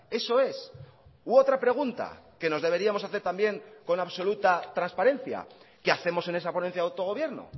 eso es u otra pregunta que nos deberíamos hacer también con absoluta transparencia qué hacemos en esa ponencia de autogobierno